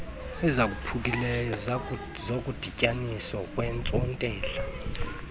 ezaphukileyo zokudityaniswa kweentsontela